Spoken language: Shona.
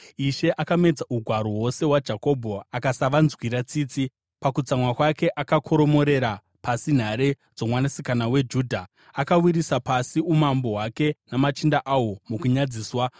Ishe akamedza ugaro hwose hwaJakobho akasavanzwira tsitsi; mukutsamwa kwake akakoromorera pasi nhare dzoMwanasikana weJudha. Akawisira pasi umambo hwake namachinda ahwo mukunyadziswa.